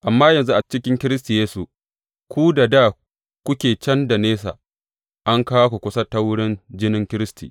Amma yanzu a cikin Kiristi Yesu, ku da dā kuke can da nesa an kawo ku kusa ta wurin jinin Kiristi.